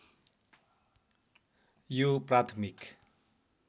यो प्राथमिक